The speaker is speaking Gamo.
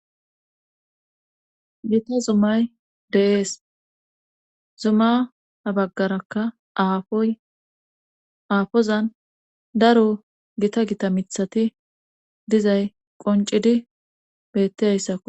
gita zumay de7ees zuma ha baggarakka afoy aafozan daro gita gita mithati dizay qoncidi bettiayssakku